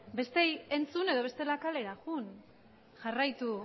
besteei entzun edo bestela kalera joan jarraitu